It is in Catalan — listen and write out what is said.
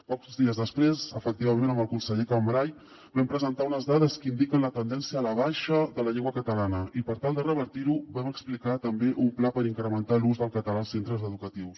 pocs dies després efectivament amb el conseller cambray vam presentar unes dades que indiquen la tendència a la baixa de la llengua catalana i per tal de revertir ho vam explicar també un pla per incrementar l’ús del català als centres educatius